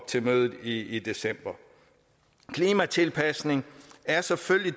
til mødet i december klimatilpasning er selvfølgelig